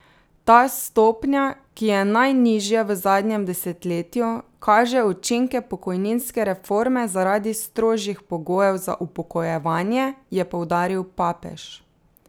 Ta stopnja, ki je najnižja v zadnjem desetletju, kaže učinke pokojninske reforme zaradi strožjih pogojev za upokojevanje, je poudaril Papež.